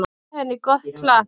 Gefið henni gott klapp.